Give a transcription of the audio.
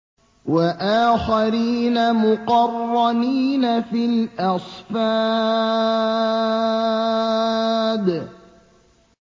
وَآخَرِينَ مُقَرَّنِينَ فِي الْأَصْفَادِ